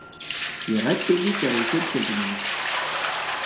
Ég ræddi líka við fjölskyldu mína.